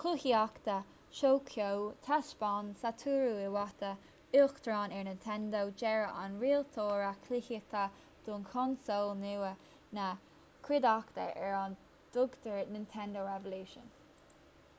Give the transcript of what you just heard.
cluichíochta thóiceo thaispeáin satoru iwata uachtarán ar nintendo dearadh an rialaitheora cluichíochta do chonsól nua na cuideachta ar a dtugtar nintendo revolution